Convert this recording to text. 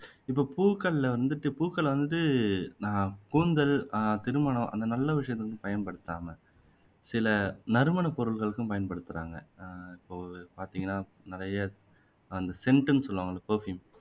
இப்போ பூக்கள்ல வந்துட்டு பூக்களை வந்துட்டு நான் கூந்தல் ஆஹ் திருமணம் அந்த நல்ல விஷயத்துக்கு பயன்படுத்தாம சில நறுமண பொருள்களுக்கும் பயன்படுத்துறாங்க ஆஹ் இப்போ பாத்தீங்கன்னா நிறைய scent னு சொல்லுவாங்கல்ல perfume